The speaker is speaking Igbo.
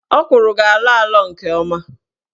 Ọkwụrụ ga-alọ alọ nke ọma